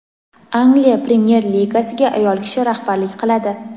Angliya Premyer-Ligasiga ayol kishi rahbarlik qiladi.